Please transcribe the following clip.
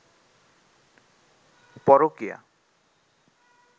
পরকীয়া